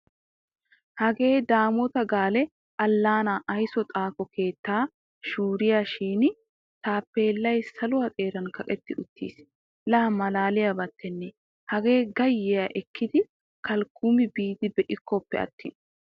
Hage Daamota Gaale Allaana aysuwaa xaafo keettata shuriya shin Taappellay saluuwa xeeran kaqetti uttiis. La maalaliyabattenne Haga gayyiya ekkidi kalukumi biidi be'ikkoppe attin !.